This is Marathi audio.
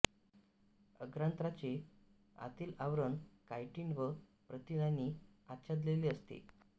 अग्रांत्राचे आतील आवरण कायटिन व प्रथिनानी आच्छादलेले असते